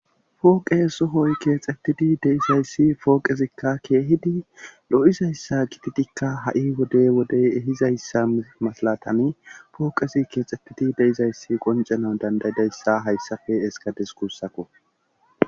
fooqe sohoy keexxettidi de'izayssi pooqezikka keehidi lo7izayssa gititikka ha7i wode wode ehizayssa masalatan fooqezi keexxettidi de'izayssi qoncena dandayidayssa hayssafe eskades kussaku